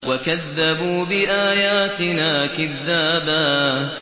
وَكَذَّبُوا بِآيَاتِنَا كِذَّابًا